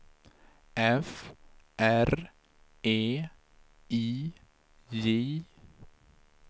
F R E I J